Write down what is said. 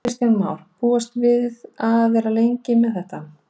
Kristján Már: Hvað búist þið við að vera lengi með þetta?